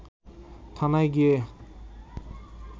থানায় গিয়ে